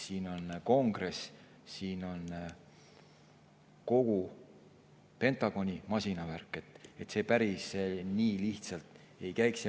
Seal on kongress, seal on kogu Pentagoni masinavärk, seega see päris nii lihtsalt ei käiks.